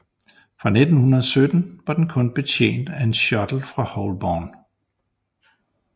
Fra 1917 var den kun betjent af en shuttle fra Holborn